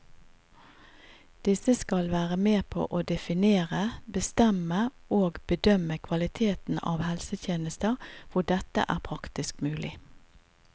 Disse skal være med på å definere, bestemme og bedømme kvaliteten av helsetjenester hvor dette er praktisk mulig.